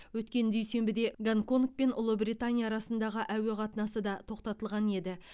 өткен дүйсенбіде гонконг пен ұлыбритания арасындағы әуе қатынасы да тоқтатылған еді